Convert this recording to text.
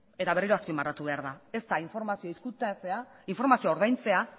eta berriro azpimarratu behar da ez da informazioa ezkutatzea informazioa ordaintzea